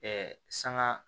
sanga